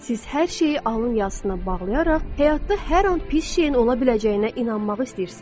Siz hər şeyi alın yazısına bağlayaraq, həyatda hər an pis şeyin ola biləcəyinə inanmağı istəyirsiz?